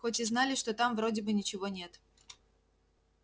хоть и знали что там вроде бы ничего нет